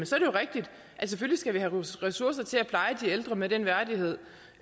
skal være medlem